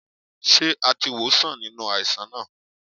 Ṣé a ti wòó sàn nínú àìsàn náà?